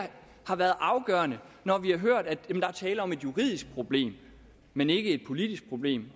har været afgørende når vi har hørt at der er tale om et juridisk problem men ikke et politisk problem